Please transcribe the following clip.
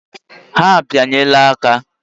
Ha ebinyela aka